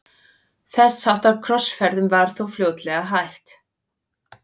þess háttar krossferðum var þó fljótlega hætt